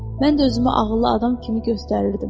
Mən də özümü ağıllı adam kimi göstərirdim.